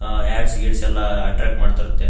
ಆ ads kids ಎಲ್ಲ attract ಮಾಡ್ತಾ ಇರತ್ತೆ.